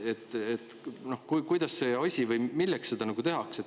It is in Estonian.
Milleks seda tehakse?